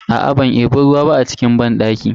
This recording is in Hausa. Aa ban debi ruwa ba a cikin moɗan banɗakin.